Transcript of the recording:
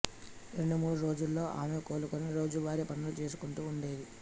రెండు మూడు రోజులలో ఆమె కోలుకొని రోజువారీ పనులు చేసుకుంటూ ఉండేది